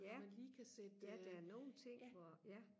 når man lige kan sætte øh ja